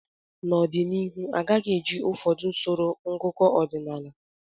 N'ọdịnihu agaghị eji ụfọdụ usoro ngụkọ ọdịnala